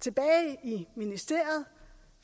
tilbage i ministeriet